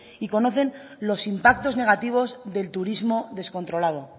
y conocen los impactos negativos del turismo descontrolado